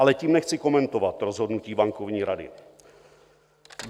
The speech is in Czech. Ale tím nechci komentovat rozhodnutí bankovní rady.